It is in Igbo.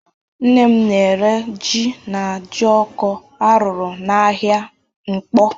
Nne m na-ere jí na jioko a rụrụ n'ahịa Nkpọ.